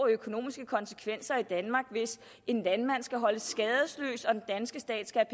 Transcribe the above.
af økonomiske konsekvenser for danmark hvis en landmand skal holdes skadesløs og den danske stat skal